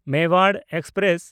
Mewar express